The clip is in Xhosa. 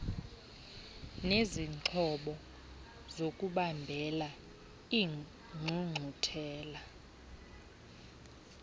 nezixhobo zokubambela iingqungquthela